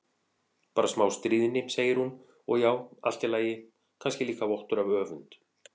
Bara smá stríðni, segir hún, og já, allt í lagi, kannski líka vottur af öfund.